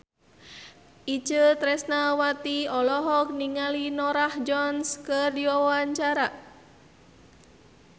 Itje Tresnawati olohok ningali Norah Jones keur diwawancara